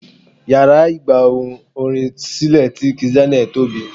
Yàrá ìgba ohùn orin sílè ti kizz Daniel tóbi.